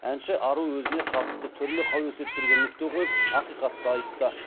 әнші ару өзіне қатысты түрлі қауесеттерге нүкте қойып ақиқатты айтты